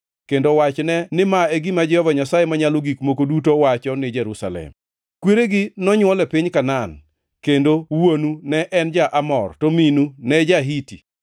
kendo wachne ni ma e gima Jehova Nyasaye Manyalo Gik Moko Duto wacho ni Jerusalem: ‘Kweregi nonywol e piny Kanaan, kendo wuonu ne en ja-Amor, to minu ne ja-Hiti.